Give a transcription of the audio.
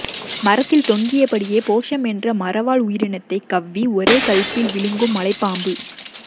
மரத்தில் தொங்கியபடியே போஸம் என்ற மரவாழ் உயிரினத்தை கவ்வி ஒரே கள்ப்பில் விழுங்கும் மலைப்பாம்பு